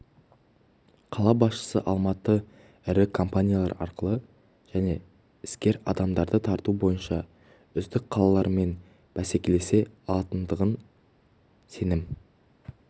қала басшысы алматы ірі компаниялар ақылды және іскер адамдарды тарту бойынша үздік қалалармен бәсекелесе алатындығына сенім